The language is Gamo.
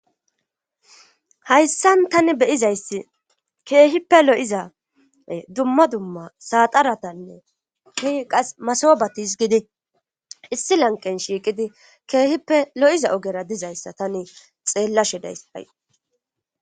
hayssan tani beyizayssi keehippe lo7iza dumma dumma saxaratanne ki qas masobatis gidi issi lanqen shiiqidi keehippe lo7iza ogera dizayssa tani xeellashe days hay